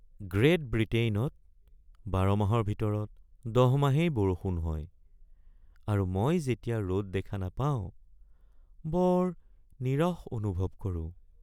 Great বৃটেইনত ১২ মাহৰ ভিতৰত ১০ মাহেই বৰষুণ হয় আৰু মই যেতিয়া ৰ’দ দেখা নাপাওঁ, বৰ নীৰস অনুভৱ কৰোঁ।